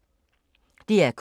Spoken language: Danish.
DR K